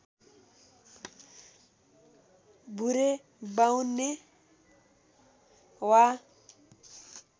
भुरे बाउन्ने वा